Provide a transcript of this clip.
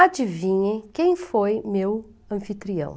Adivinhem quem foi meu anfitrião?